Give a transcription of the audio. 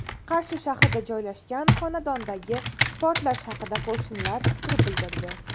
Qarshi shahrida joylashgan xonadondagi portlash haqida qo‘shnilar fikr bildirdi.